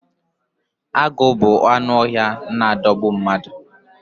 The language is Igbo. Agu bu anụ ọhịa n adogbu mmadu